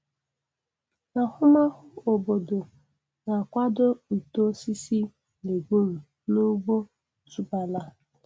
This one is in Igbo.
Ahụmahụ obodo na-akwado uto osisi legiumu n'ugbo otubala.